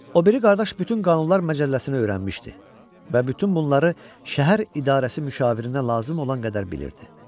O biri qardaş bütün qanunlar məcəlləsini öyrənmişdi və bütün bunları şəhər idarəsi müşavirinə lazım olan qədər bilirdi.